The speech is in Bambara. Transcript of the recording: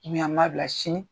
an b'a bila sini